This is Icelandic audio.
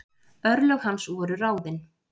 örlög hans voru ráðin